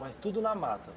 Mas tudo na mata?